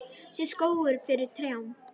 Sést skógur fyrir trjám?